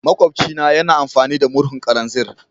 Makwabci na yana amfani da murhun kananzir.